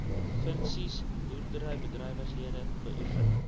provinsies boerderybedrywighede beoefen